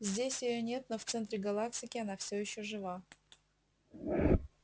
здесь её нет но в центре галактики она все ещё жива